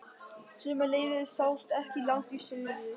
Sömuleiðis sást ekki langt í suður.